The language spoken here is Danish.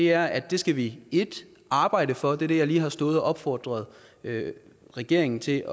er at det skal vi 1 arbejde for det er det jeg lige har stået og opfordret regeringen til